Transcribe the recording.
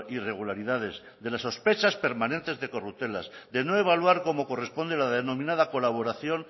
irregularidades de las sospechas permanentes de corruptelas de no evaluar como corresponde la denominada colaboración